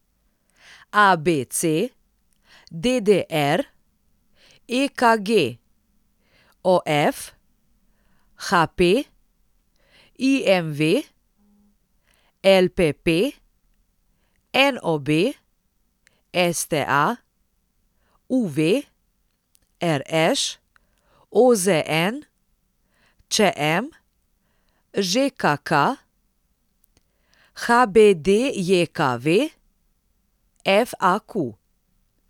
ABC, DDR, EKG, OF, HP, IMV, LPP, NOB, STA, UV, RŠ, OZN, ČM, ŽKK, HBDJKV, FAQ.